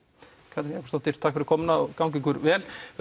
Katrín Jakobsdóttir takk fyrir komuna og gangi ykkur vel